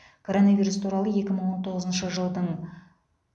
коронавирус туралы екі мың он тоғызыншы жылдың